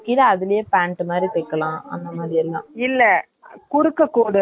ஆனால் anarkali தைக்கலாம் அந்த துணில்லா ஏன்னா puff இருக்காது synthetic .